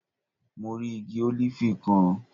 Mo rí igi ólífì kan